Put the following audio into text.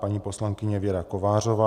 Paní poslankyně Věra Kovářová.